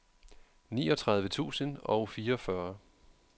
niogtredive tusind og fireogfyrre